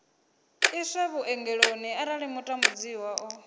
iswe vhuongeloni arali mutambudziwa o